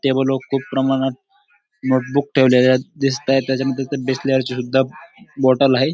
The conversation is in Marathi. टेबल वर खूप प्रमाणात नोटबुक ठेवलेल्या दिसता हेत त्याच्यानंतर तिथं बिसलरी च्या सुद्धा बॉटल आहेत.